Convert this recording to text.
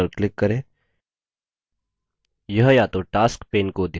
यह या तो tasks pane को दिखायेगा या छिपायेगा